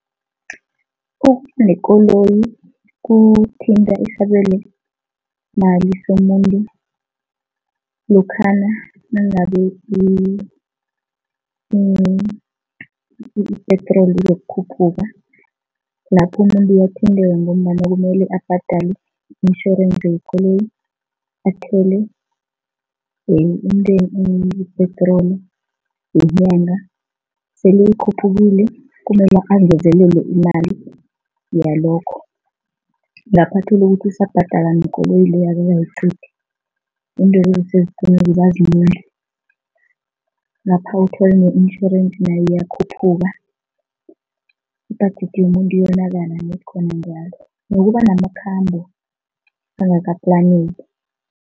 Ukuba nekoloyi kuthinta isabelomali somuntu lokhana nangabe i-petrol izokukhuphuka, lapho umuntu uyathinteka ngombana kumele abhadale i-insurance yekoloyi, athele i-petrol yenganga. Sele ikhuphukile, kumele angezelele imali yalokho, ngapha uthole ukuthi usabhadala nekoloyi leyo akakayiqedi, ngapha uthole ne-insurance nayo iyakhuphuka, ibudget yomuntu iyonakala ned khona njalo, nokuba namakhamba angakaplaneki.